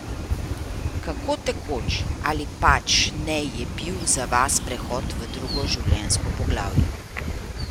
Kako tekoč ali pač ne je bil za vas prehod v drugo življenjsko poglavje?